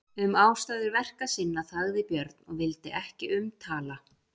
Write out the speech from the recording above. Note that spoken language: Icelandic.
Um ástæður verka sinna þagði Björn og vildi ekki um tala.